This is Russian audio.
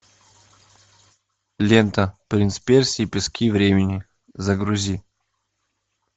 лента принц персии пески времени загрузи